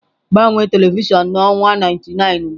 Gbanwee telivishọn na ọwa 99 ugbu a!